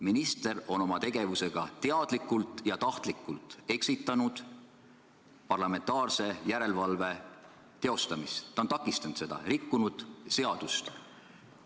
Minister on oma tegevusega teadlikult ja tahtlikult eksitanud parlamentaarse järelevalve teostamist, ta on takistanud seda, rikkunud seadust.